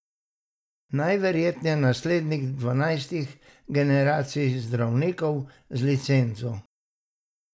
Najverjetneje naslednik dvanajstih generacij zdravnikov z licenco.